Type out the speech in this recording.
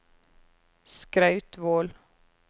Skrautvål